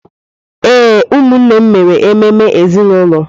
Ee, ụmụnne m mere ememe ezinụlọ.